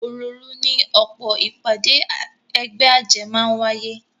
Òròòru ni ọ̀pọ̀ ìpàdé ẹgbẹ́ àjẹ́ máa ń wáyé